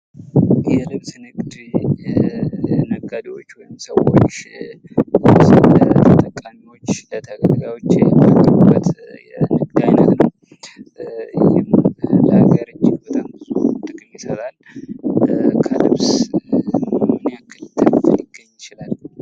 የንግድ ልብስ ነጋዴዎች ወይም ሰዎች ልብስን ለተጠቃሚዎች፥ ለ ለተገልጋዮች የሚያቀርቡበት የንግድ አይነት ነው። ለሀገር እጅግ በጣም ብዙ ጥቅም ይሰጣል። ከልብስ ምን ያክል ትርፍ ሊገኝ ይችላል?